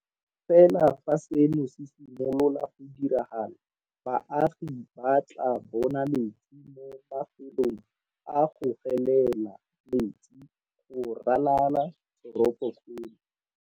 Fela fa seno se simolola go diragala, baagi ba tla bona metsi mo mafelong a go gelela metsi go ralala toropokgolo.